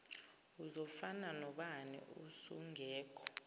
uzofana nobani usungekho